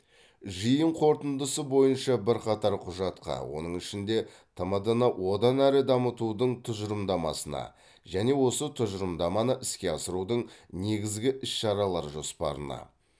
жиын қорытындысы бойынша бірқатар құжатқа оның ішінде тмд ны одан әрі дамытудың тұжырымдамасына және осы тұжырымдаманы іске асырудың негізгі іс шаралар жоспарына